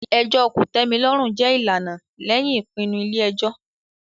ẹjọ́ kòtẹ́milọ́rùn jẹ́ ìlànà lẹ́yìn ìpinnu ilé ẹjọ́.